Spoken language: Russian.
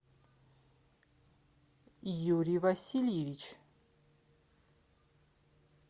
юрий васильевич